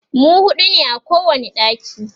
mu huɗu ne a kowani ɗaki